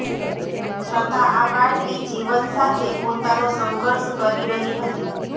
છતાં આ બાળકી જીવન સાથે પોતાનો સંઘર્ષ કરી રહી હતી